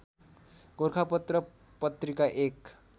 गोरखापत्र पत्रिका एक